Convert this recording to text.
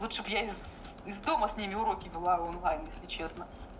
лучше б я из из дома с ними вела уроки онлайн если честно